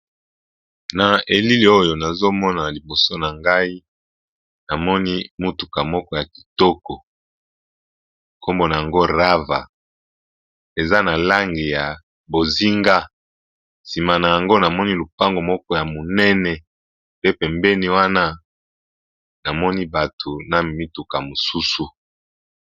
Na elili oyo nazo mona na liboso na ngai namoni mutuka moko ya kitoko, nkombo nango Rava eza na langi ya bozinga nsima na yango namoni lupango moko ya monene pe pembeni wana namoni bato na mituka mosusu.